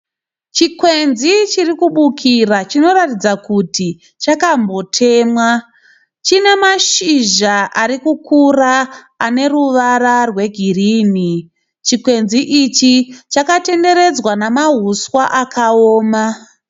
Chikwenzi chiri kubukira chiri kuratidza kuti chakambotemwa, chine mashizha ari kukura ane ruvara rwegirini, chikwenzi ichi chakatenderedzwa nemahuswa akaoma.